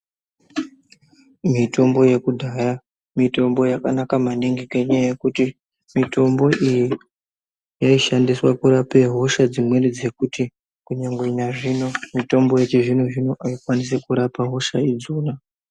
Mitombo yekudhaya mitombo yakanaka maningi ngenyaya yekuti mitombo iyi yaishandiswa kurapa hosha dzimweni dzekuti kunyangwe nazvino mitombo yechizvino-zvino aikwanisi kurapa hosha idzona.